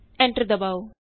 enter ਦਬਾਉ